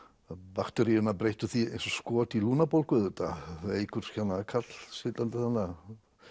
bakteríurnar breyttu því eins og skot í lungnabólgu veikur karl sitjandi þarna